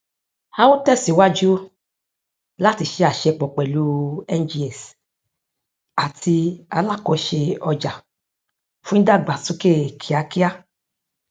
a ó tẹsíwájú láti ṣe àṣepọ pẹlú ngx àti alakòse ọjà fún ìdàgbàsókè kíákíá